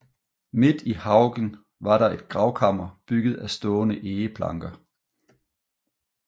Midt i haugen var der et gravkammer bygget af stående egeplanker